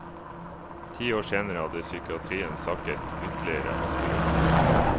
Ti år senere hadde psykiatrien sakket ytterligere akterut.